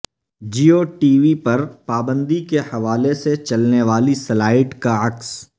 Jio TV پر پابندی کے حوالے سے چلنے والی سلائیڈ کا عکس